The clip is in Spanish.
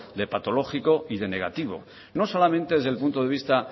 de patológico y de negativo no solamente desde el punto de vista